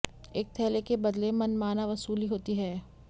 एक थैले के बदले मनमाना वसूली होती है